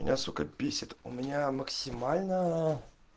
меня сука бесит у меня максимально